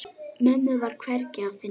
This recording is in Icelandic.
Mömmu var hvergi að finna.